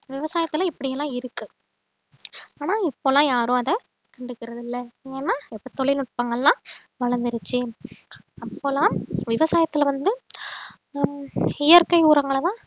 விவசாயத்துல இப்படி எல்லாம் இருக்கு ஆனா இப்ப எல்லாம் யாரும் அதை கண்டுக்கிறதில்ல ஏன்னா இப்ப தொழில்நுட்பங்கள்லாம் வளர்ந்திருச்சு அப்போல்லாம் விவசாயத்துல வந்து ஹம் இயற்கை உரங்களை தான்